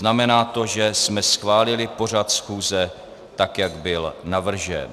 Znamená to, že jsme schválili pořad schůze, tak jak byl navržen.